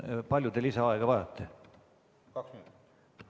Kui palju te lisaaega vajate?